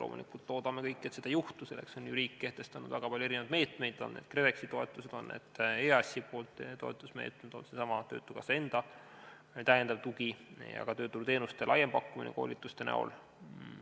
Loomulikult loodame kõik, et seda ei juhtu, selleks on riik kehtestanud väga palju meetmeid, on need KredExi toetused, on need EAS-i toetusmeetmed või seesama töötukassa enda lisatugi ja ka tööturuteenuste laiem pakkumine koolituste näol.